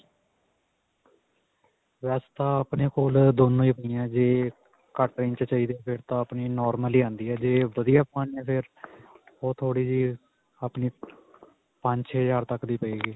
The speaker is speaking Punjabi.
ਵੈਸੇ ਤਾਂ ਆਪਣੇ ਕੋਲ ਦੋਨੋ ਹੀ ਪਈਆਂ ਜੇ ਘੱਟ range ਵਿੱਚ ਚਾਹੀਦੀ ਫਿਰ ਤਾਂ ਆਪਣੀ normal ਹੀ ਆਉਂਦੀ ਆ ਜੇ ਵਧੀਆ ਪਵਾਉਣੀ ਹੈ ਫਿਰ ਓਹ ਥੋੜੀ ਜਿਹੀ ਆਪਣੀ ਪੰਜ-ਛੇ ਹਜ਼ਾਰ ਤੱਕ ਦੀ ਪਵੇਗੀ.